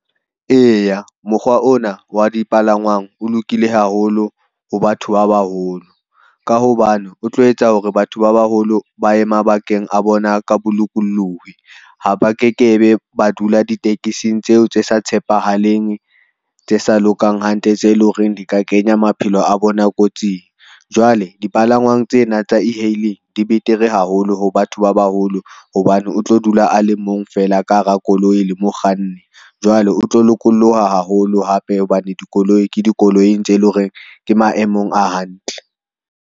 Eya, mokgwa ona wa dipalangwang, o lokile haholo ho batho ba baholo, ka hobane o tlo etsa hore batho ba baholo ba ye mabakeng a bona ka bolokolohi. Ha ba ke ke be, ba dula ditekesing tseo tse sa tshepahaleng tse sa lokang hantle, tse le ho reng di ka kenya maphelo a bona kotsing. Jwale dipalangwang tsena tsa e-hailing di betere haholo ho batho ba baholo, hobane o tlo dula a le mong feela ka hara koloi le mokganni. Jwale o tlo lokolloha haholo hape hobane dikoloi ke dikoloi tse le ho reng ke maemong a hantle.